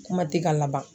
Kuma tɛ ka laban